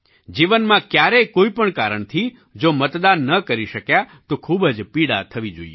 જીવનમાં ક્યારેય કોઈ પણ કારણથી જો મતદાન ન કરી શક્યા તો ખૂબ જ પીડા થવી જોઈએ